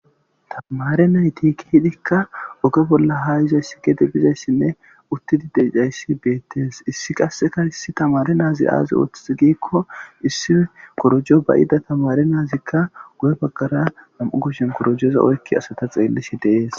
Tamare naytii hidikka oge bolla haa yizays si gete bizayssinne uttidideayssi beettees issi qasseka issi tamari naazi aaze ooththiz giikko issi korojo bayida tamare naazikka gu'e baggara nam'u gushshen korojoza oykki asata xeellishi deees